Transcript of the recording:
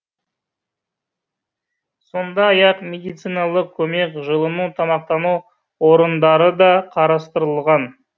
сондай ақ медициналық көмек жылыну тамақтану орындары да қарастырылған